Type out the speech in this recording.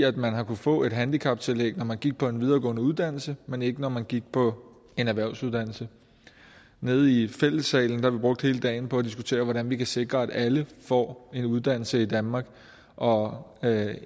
at man har kunnet få et handicaptillæg når man gik på en videregående uddannelse men ikke når man gik på en erhvervsuddannelse nede i fællessalen har vi brugt hele dagen på at diskutere hvordan vi kan sikre at alle får en uddannelse i danmark og